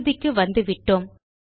இறுதிக்கு வந்துவிட்டோம்